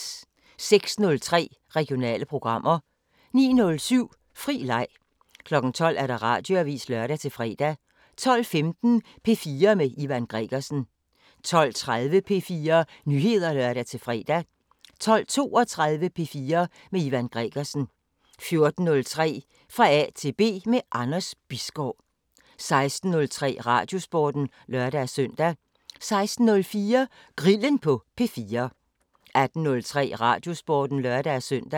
06:03: Regionale programmer 09:07: Fri leg 12:00: Radioavisen (lør-fre) 12:15: P4 med Ivan Gregersen 12:30: P4 Nyheder (lør-fre) 12:32: P4 med Ivan Gregersen 14:03: Fra A til B – med Anders Bisgaard 16:03: Radiosporten (lør-søn) 16:04: Grillen på P4 18:03: Radiosporten (lør-søn)